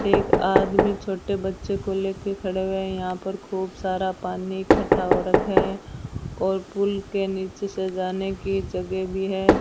एक आदमी छोटे बच्चों को लेकर खड़े हुए हैं यहां पर खूब सारा पानी इकठ्ठा हो रखा है और पुल के नीचे से जाने की जगह भी है।